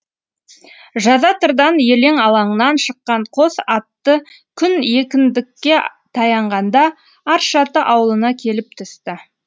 жазатырдан елең алаңнан шыққан қос атты күн екіндікке таянғанда аршаты ауылына келіп түсті